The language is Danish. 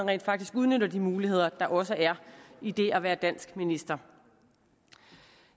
rent faktisk udnytter de muligheder der også er i det at være dansk minister